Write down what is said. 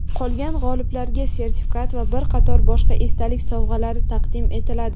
qolgan g‘oliblarga sertifikat va bir qator boshqa esdalik sovg‘alari taqdim etiladi.